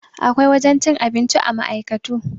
Akwai wurin cin abinci a ma'aikatu.